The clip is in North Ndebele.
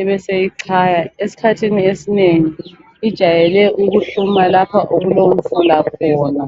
ebeseyichaya. Esikhathini esinengi ijayele ukuhluma lapha okulomfula khona.